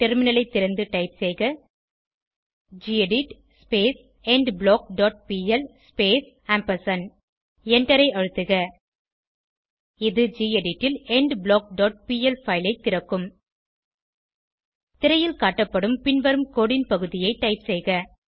டெர்மினலை திறந்து டைப் செய்க gedit endblock dot PL space ampersand எண்டரை அழுத்துக இது கெடிட் ல் எண்ட்பிளாக் டாட் பிஎல் பைல் ஐ திறக்கும் திரையில் காட்டப்படும் பின்வரும் கோடு ன் பகுதியை டைப் செய்க